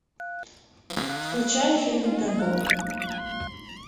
включай фильм темпл